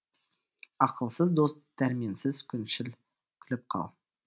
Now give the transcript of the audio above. ақылсыз дос дәрменсіз күншіл күліп қал